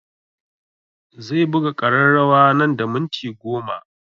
Zai buga ƙararrawa nan da minti goma